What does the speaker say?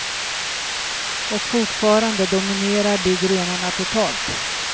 Och fortfarande dominerar de grenarna totalt.